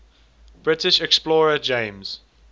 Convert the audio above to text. british explorer james